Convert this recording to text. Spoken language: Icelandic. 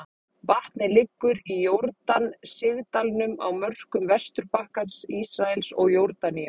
Vatnið liggur í Jórdan sigdalnum á mörkum Vesturbakkans, Ísraels og Jórdaníu.